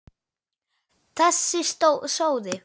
Þessi sóði!